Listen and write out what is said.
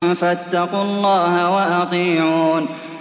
فَاتَّقُوا اللَّهَ وَأَطِيعُونِ